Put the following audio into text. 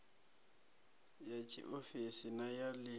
ya tshiofisi na ya ḽi